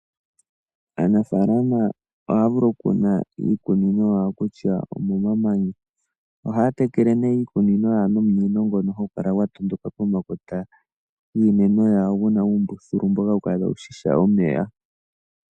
Aanafaalama ohaya vulu oku kuna iikunino yawo kutya omomamanya. Ohaya tekele nee iikunino yawo nomunino ngono hagu kala gwatondoka pomakota giimeno yawo ngoka guna uumbuthulu hawukala tawu shisha omeya.